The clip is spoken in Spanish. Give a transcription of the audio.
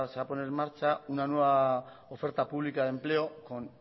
a poner en marcha una nueva oferta pública de empleo con